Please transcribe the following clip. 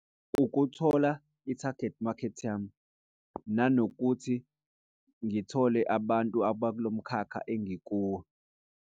Ukuthola ithagethi makhethi yami nanokuthi ngithole abantu abakulo mkhakha engikuwo.